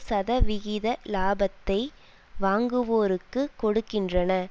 சதவிகித இலாபத்தை வாங்குவோருக்கு கொடுக்கின்றன